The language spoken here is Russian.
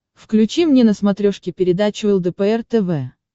включи мне на смотрешке передачу лдпр тв